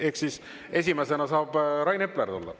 Ehk siis esimesena saab Rain Epler tulla.